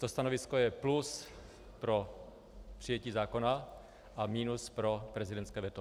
To stanovisko je plus pro přijetí zákona a minus pro prezidentské veto.